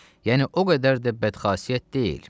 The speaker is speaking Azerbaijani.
Yəni o qədər də bədxasiyyət deyil.